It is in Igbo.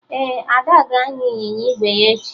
Ee, Ada ga-anya ịnyịnya ígwè ya echi